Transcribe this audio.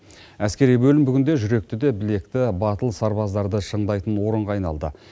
әскери бөлім бүгінде жүректі де білекті батыл сарбаздарды шыңдайтын орынға айналды